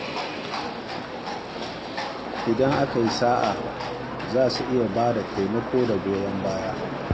Idan aka yi sa'a, za su iya bayar da taimako da goyon baya.